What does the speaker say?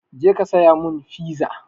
Je ka saya mun fiza!